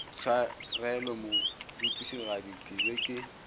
tshwarelo morutišigadi ke be ke